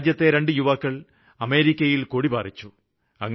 എന്റെ രാജ്യത്തെ രണ്ടു യുവാക്കള് അമേരിക്കയില് കൊടി പാറിച്ചു